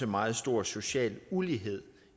meget stor social ulighed